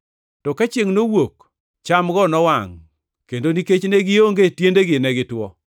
To ka chiengʼ nowuok, chamgo nowangʼ kendo nikech ne gionge tiendegi, ne gitwo.